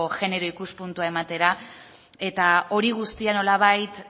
genero ikuspuntua ematea eta hori guztia nolabait